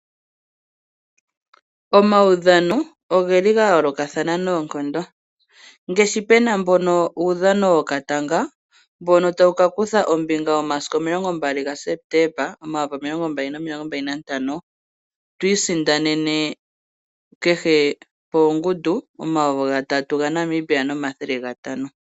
Omaudhano oga yoolokathana noonkondo opena uudhano wokatanga mbono tawu kakutha ombinga momasiku 20 gaSepetemba 2025. Twiisindanene kehe pongundu omayovi N$ 3500.